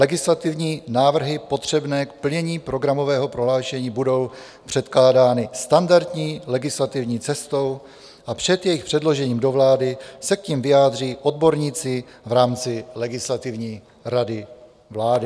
Legislativní návrhy potřebné k plnění programového prohlášení budou předkládány standardní legislativní cestou a před jejich předložením do vlády se k nim vyjádří odborníci v rámci Legislativní rady vlády."